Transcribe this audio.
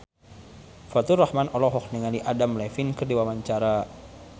Faturrahman olohok ningali Adam Levine keur diwawancara